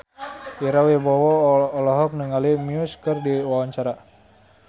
Ira Wibowo olohok ningali Muse keur diwawancara